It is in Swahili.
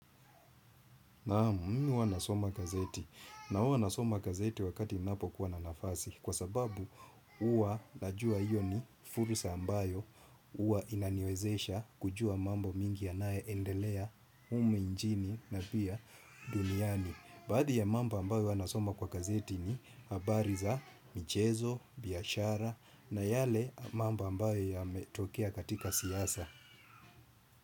Naam mimi huwa nasoma gazeti. Na huwa nasoma gazeti wakati ninapokuwa na nafasi. Kwa sababu huwa najua hiyo ni fursa ambayo huwa inaniwezesha kujua mambo mingi yanayoendelea humu nchini na pia duniani. Baadhi ya mambo ambayo huwa nasoma kwa gazeti ni habari za, michezo, biashara na yale mambo ambayo yametokea katika siasa.